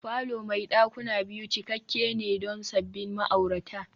falo mai dakuna biyu cikakke ne don sabbin ma'aurata